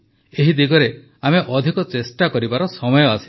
ଏହି ଦିଗରେ ଆମେ ଅଧିକ ଚେଷ୍ଟା କରିବାର ସମୟ ଆସିଛି